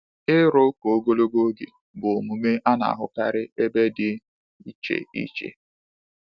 Ịrụ ụka ogologo oge bụ omume a na-ahụkarị n’ebe dị iche iche.